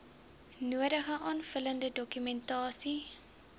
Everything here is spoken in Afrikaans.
nodige aanvullende dokumentasie